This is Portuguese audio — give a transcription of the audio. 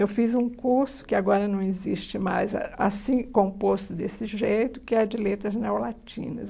Eu fiz um curso, que agora não existe mais, ah assim, composto desse jeito, que é de letras neolatinas.